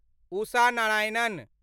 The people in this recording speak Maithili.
उषा नारायणन